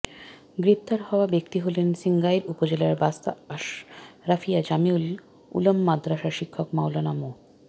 গ্রেপ্তার হওয়া ব্যক্তি হলেন সিঙ্গাইর উপজেলার বাস্তা আশরাফিয়া জামিউল উলুম মাদ্রাসার শিক্ষক মাওলানা মো